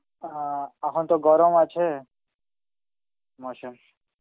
আ আর এখন তো গরম আছে মরশুম.